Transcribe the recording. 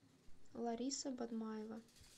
лариса бадмаева